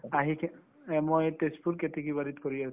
আহিকে এই মই তেজপুৰ কেতেকী বাৰীত কৰি